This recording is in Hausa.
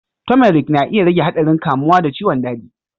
Turmeric na iya rage haɗarin kamuwa da ciwon daji.